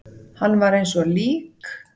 Hann var eins og lík.